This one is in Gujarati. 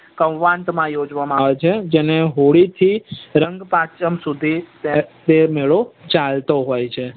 કૌવાત માં ઉજવામાં આવે છે જેને હોળી થી રંગ પાચમ સુધી તે મેળો ચાલતો હોય છે